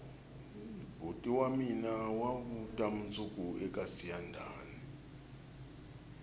boti wa mina wa vuta mundzuku eka siyandhani